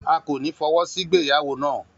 A kò ní fọwọ́sí ìgbéyàwó na